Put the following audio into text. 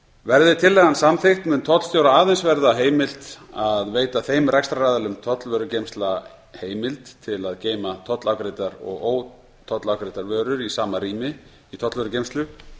verði tillagan samþykkt mun tollstjóra aðeins verða heimilt að veita þeim rekstraraðilum tollvörugeymslna heimild til að geyma tollafgreiddar og ótollafgreiddar vörur í sama rými í tollvörugeymslu